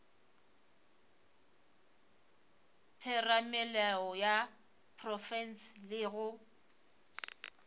theramelao ya profense le go